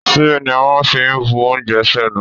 Ṣíbí ni a máa ń fi ń bu oúnje sẹ́nu.